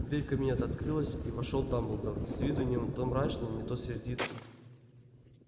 дверь кабинета открылась и вошёл дамблдор с виду не то мрачный не то сердитый